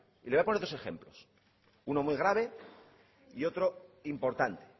y le voy a poner dos ejemplos uno muy grave y otro importante